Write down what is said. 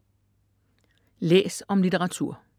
Læs om litteratur